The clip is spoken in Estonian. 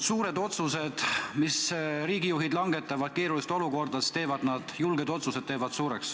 Suured otsused, julged otsused, mis riigijuhid langetavad keerulistes olukordades, teevad nad suureks.